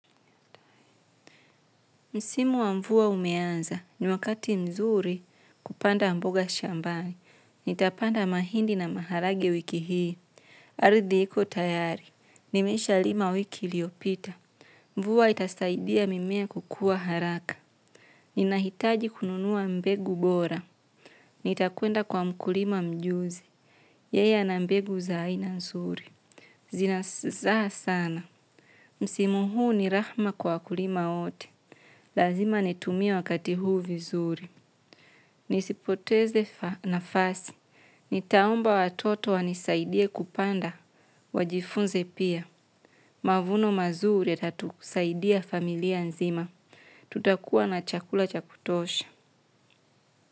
Msimu wa mvua umeanza, ni wakati mzuri kupanda mboga shambani. Nitapanda mahindi na maharage wiki hii. Ardhi hiko tayari. Nimesha lima wiki liopita. Mvua itasaidia mimea kukua haraka. Ninahitaji kununua mbegu bora. Nitakuenda kwa mkulima mjuzi. Yeye na mbegu za aina mzuri. Zina zaa sana. Msimu huu ni rahma kwa kulima wote. Lazima nitumie wakati huu vizuri. Nisipoteze nafasi. Nitaumba watoto wanisaidia kupanda. Wajifunze pia. Mavuno mazuri ya tatusaidia familia nzima. Tutakuwa na chakula cha kutosha.